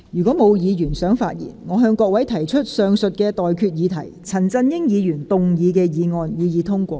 我現在向各位提出的待決議題是：陳振英議員動議的議案，予以通過。